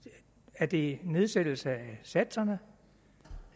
er det nedsættelse af satserne